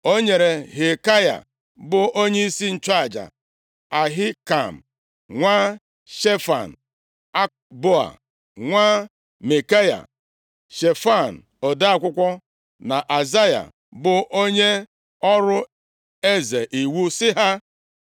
O nyere Hilkaya bụ onyeisi nchụaja, Ahikam nwa Shefan, Akboa nwa Mikaya, Shefan ode akwụkwọ na Asaya, bụ onye ọrụ eze, iwu, sị ha,